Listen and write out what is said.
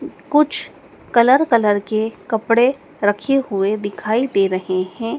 कुछ colour colour के कपड़े रखे हुए दिखाई दे रहे हैं।